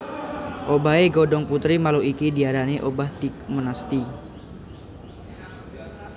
Obahé godhong putri malu iki diarani obah tigmonasti